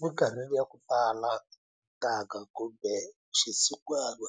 Minkarhini ya ku tala ntanga kumbe xisin'wana